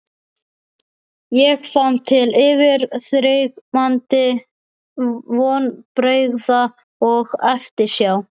Ég fann til yfirþyrmandi vonbrigða og eftirsjár.